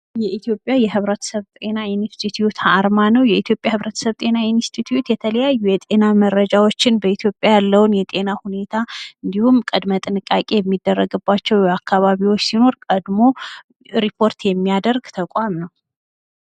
የኢትዮጵያ የህብረተሰብ ጤና ኢንስቲትውት አርማ ነው የኢትዮጵያ ህብረተሰብ ጤና ኢንስትቲዩት የተለያዩ የጤና መረጃዎችን በኢትዮጵያ ያለውን የጤና ሁኔታ እንዲሁም ቅድመ ጥንቃቄ የሚደረግባቸው የአካባቢዎች ሲኖር ቀድሞ ሪፖርት የሚያደርግ ተቋም ነው።